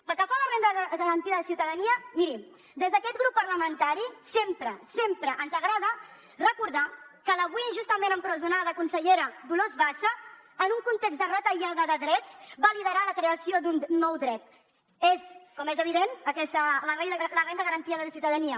pel que fa a la renda garantida de ciutadania miri des d’aquest grup parlamentari sempre sempre ens agrada recordar que l’avui injustament empresonada consellera dolors bassa en un context de retallada de drets va liderar la creació d’un nou dret és com és evident la renda garantida de ciutadania